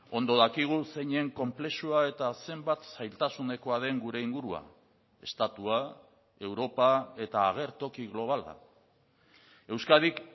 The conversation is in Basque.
ondo dakigu zeinen konplexua eta zenbat zailtasunekoa den gure ingurua estatua europa eta agertoki globala euskadik